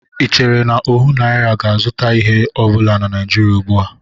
Ị chere na ọhụ naịra ga-azụta ihe ọ bụla na Nịajịrịa ugbu a?